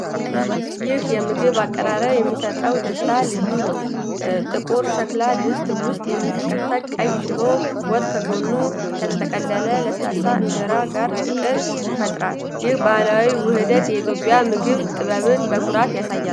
ይህ የምግብ አቀራረብ የሚያሰጠው ደስታ ልዩ ነው። ጥቁር የሸክላ ድስት ውስጥ የሚንተከተክ ቀይ ሽሮ ወጥ ከጎኑ ከተጠቀለለ ለስላሳ እንጀራ ጋር ፍቅር ይፈጥራል። ይህ ባህላዊ ውህደት የኢትዮጵያን የምግብ ጥበብ በኩራት ያሳያል።